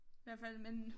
Hvert fald men